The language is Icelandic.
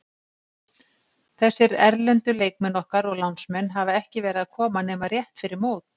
Þessir erlendu leikmenn okkar og lánsmenn hafa ekki verið að koma nema rétt fyrir mót.